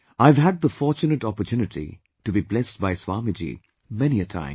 I have had the fortunate opportunity to be blessed by Swamiji, many a time